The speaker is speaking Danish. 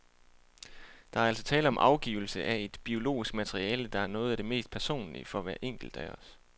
Der er altså tale om afgivelse af et biologisk materiale, der er noget af det mest personlige for hver enkelt af os.